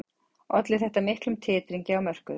Olli þetta miklum titringi á mörkuðum